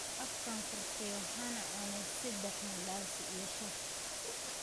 Afka furtay waxaan cunay saddex mandasi iyo shaah